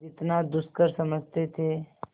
जितना दुष्कर समझते थे